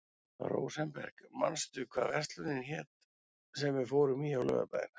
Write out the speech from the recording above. Rósenberg, manstu hvað verslunin hét sem við fórum í á laugardaginn?